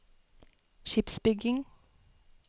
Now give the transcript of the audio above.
skipsbygging